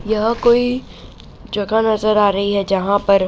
यह कोई जगह नजर आ रही है जहाँ पर --